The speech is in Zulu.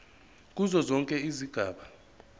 kuzo zonke izigaba